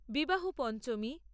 বিবাহ পঞ্চমী